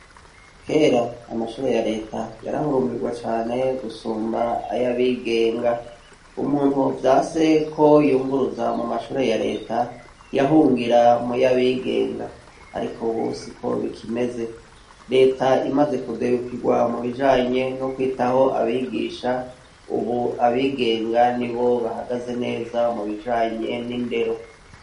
Kera amashure ya leta yarahurumbirwa cane gusumba ayo abigenga umuntu vya seko yunguruza mu mashure ya leta yahungira mu yo abigenga, ariko busiko bikimeze leta imaze kudebukirwa mu bijanye no kwitaho abigishae, ubu abigenga ni bo bahagaze neza mubijanye n'indero.